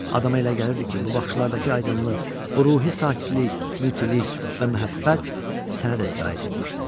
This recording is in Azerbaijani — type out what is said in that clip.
Adama elə gəlirdi ki, bu baxışlardakı aydınlıq, bu ruhi sakitlik, mütilik və məhəbbət sənə də sirayət etmişdi.